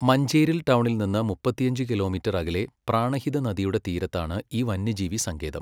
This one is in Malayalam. മഞ്ചേരിൽ ടൗണിൽ നിന്ന് മുപ്പത്തിയഞ്ച് കിലോമീറ്റർ അകലെ പ്രാണഹിത നദിയുടെ തീരത്താണ് ഈ വന്യജീവി സങ്കേതം.